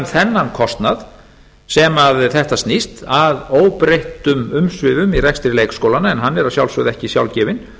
þennan kostnað sem þetta snýst að óbreyttum umsvifum í rekstri leikskólanna en hann er að sjálfsögðu ekki sjálfgefinn